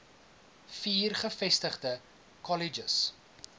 vier gevestigde kolleges